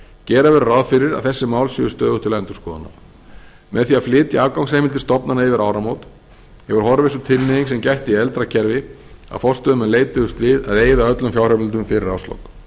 gera verður ráð fyrir að þessi mál séu stöðugt til skoðunar með því að flytja afgangsheimildir stofnana yfir áramót hefur horfið sú tilhneiging sem gætti í eldra kerfi að forstöðumenn leituðust við að eyða öllum fjárheimildum fyrir árslok